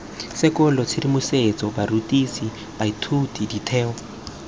sekolo tshedimosetso barutisi baithuti ditheo